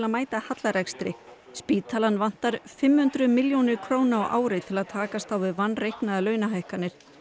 að mæta hallarekstri spítalann vantar fimm hundruð milljónir á ári til að takast á við vanreiknaðar launahækkanir